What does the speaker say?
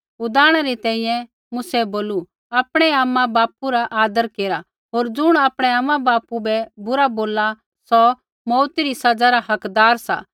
उदाहरणै री तैंईंयैं मूसै बोलू आपणै आमाबापू रा आदर केरा होर ज़ुण आपणै आमाबापू बै बुरा बोलला सौ मौऊत री सज़ा रा हकदार सा